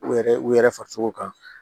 U yɛrɛ u yɛrɛ farisogo kan